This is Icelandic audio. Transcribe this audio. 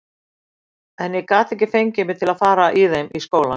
En ég gat ekki fengið mig til að fara í þeim í skólann.